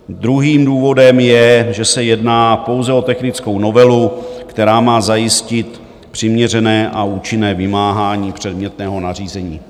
Druhým důvodem je, že se jedná pouze o technickou novelu, která má zajistit přiměřené a účinné vymáhání předmětného nařízení.